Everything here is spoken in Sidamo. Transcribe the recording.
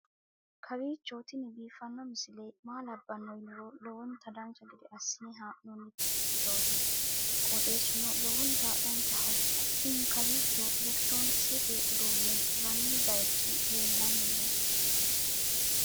kowiicho tini biiffanno misile maa labbanno yiniro lowonta dancha gede assine haa'noonni foototi qoxeessuno lowonta danachaho. tini kawiicho elekitiroonikisete uduunne hirranni baychi leellanni nooe